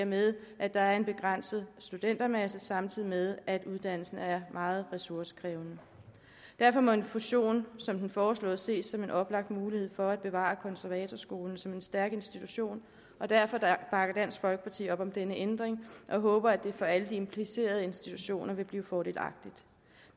med at der er en begrænset studentermasse samtidig med at uddannelsen er meget ressourcekrævende derfor må en fusion som den foreslåede ses som en oplagt mulighed for at bevare konservatorskolen som en stærk institution og derfor bakker dansk folkeparti op om denne ændring og håber at det for alle de implicerede institutioner vil blive fordelagtigt